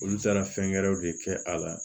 Olu taara fɛn wɛrɛw de kɛ a la